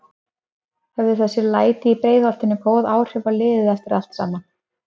Höfðu þessi læti í Breiðholtinu góð áhrif á liðið eftir allt saman?